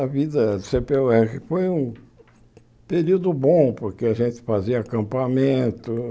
Na vida do cê pê ó érre foi um período bom, porque a gente fazia acampamento.